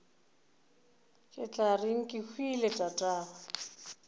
ke tla reng kehwile tatagwe